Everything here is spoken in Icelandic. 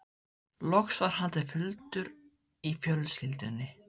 Loks var haldinn fundur í fjölskyldunni.